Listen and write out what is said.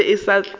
yona e be e sa